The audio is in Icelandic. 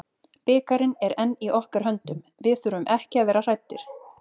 Bikarinn er enn í okkar höndum, við þurfum ekki að vera hræddir.